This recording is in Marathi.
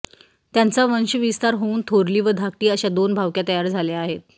त्यांचा वंशविस्तार होऊन थोरली व धाकटी अशा दोन भावक्या तयार झाल्या आहेत